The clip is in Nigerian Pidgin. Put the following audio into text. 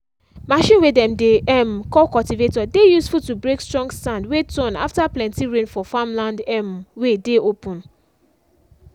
machine way dem dey um call cultivator dey useful to break strong sand way turn after plenty rain for farmland um way dey open.